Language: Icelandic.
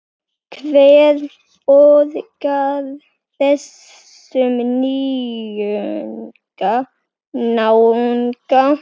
Hver borgar þessum náunga?